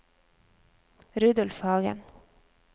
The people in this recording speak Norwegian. Rudolf Hagen